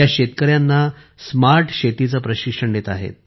त्या शेतकऱ्यांना स्मार्ट शेतीचे प्रशिक्षण देत आहे